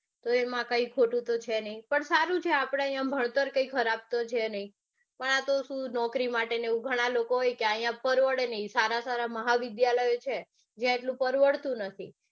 તો એમાં કાંઈ ખોટું તો છે નઈ પણ સારું છે કે આપડે ભણતર કાંઈ ખરાબ તો છે પણ આતો સુ નોકરી માટે ને એવું હોય ઘણા લોકો હોય કે અઇયા પરવડે નઈ સારા સારા મહાવિદ્યાલય છે જે પરવડતું નથી.